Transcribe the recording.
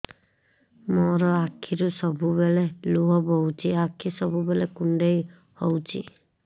ମୋର ଆଖିରୁ ସବୁବେଳେ ଲୁହ ବୋହୁଛି ଆଖି ସବୁବେଳେ କୁଣ୍ଡେଇ ହଉଚି